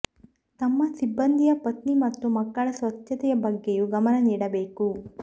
ತಮ್ಮ ಸಿಬ್ಬಂದಿಯ ಪತ್ನಿ ಮತ್ತು ಮಕ್ಕಳ ಸ್ವಚ್ಛತೆಯ ಬಗ್ಗೆಯೂ ಗಮನ ನೀಡಬೇಕು